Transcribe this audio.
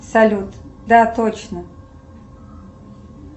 салют да точно